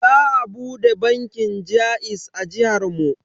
Za a bude bankin jaiz a jihar mu.